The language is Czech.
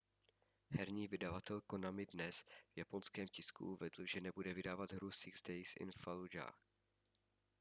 herní vydavatel konami dnes v japonském tisku uvedl že nebude vydávat hru six days in fallujah